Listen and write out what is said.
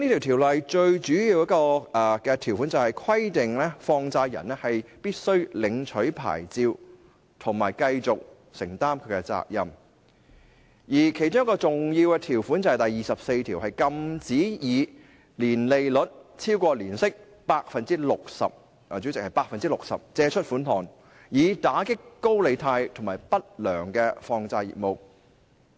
《條例》最主要的條款，是規定放債人必須領取牌照及繼續承擔責任，而另一項重要的條款就是第24條，禁止以超過年息 60%—— 代理主席，是 60%—— 的實際利率借出款項，以打擊高利貸和不良放債業務。